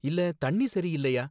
இல்ல தண்ணி சரியில்லையா